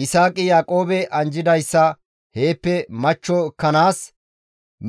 Yisaaqi Yaaqoobe anjjidayssa heeppe machcho ekkanaas